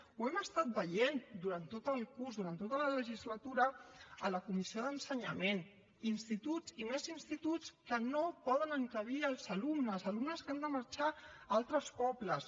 ho hem estat veient durant tot el curs durant tota la legislatura a la comissió d’ensenyament instituts i més instituts que no poden encabir els alumnes alumnes que han de marxar a altres pobles